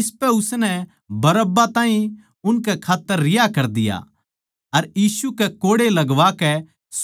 इसपै उसनै बरअब्बा ताहीं उनकै खात्तर रिहा कर दिया अर यीशु कै कोड़े लगवाकै